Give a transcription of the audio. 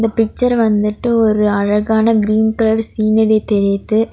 இந்தப் பிக்சர் வந்துட்டு ஒரு அழகான கிரீன் கலர் சீநரி தெரிது.